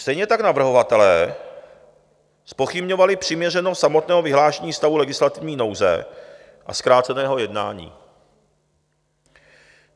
Stejně tak navrhovatelé zpochybňovali přiměřenost samotného vyhlášení stavu legislativní nouze a zkráceného jednání.